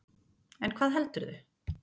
En hvað heldurðu?